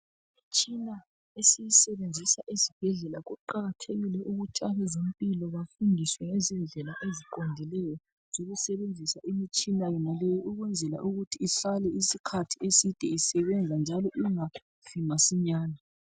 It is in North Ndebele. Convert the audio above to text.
imitshina esiyisebenzisa esibhedlela kuqakathekile ukuthi abezempilo bafundiswe ngendlela eziqondileyo zokusebenzisa imitshina yonaleyi ukwenzela ukuthi ihlale isikhathi eside isebenza njalo ingafi masinyane